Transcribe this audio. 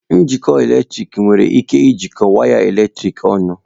Njikọ eletrik nwere ike ijikọọ waya eletrik ọnụ